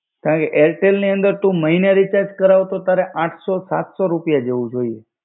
કારણ કે એરટેલની અંદર તું મહિને રિચાર્જ કરાવ તો તારે આઠ સો સાત સો રૂપિયા જેવું જોઈએ.